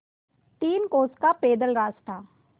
तीन कोस का पैदल रास्ता